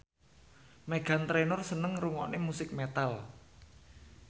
Meghan Trainor seneng ngrungokne musik metal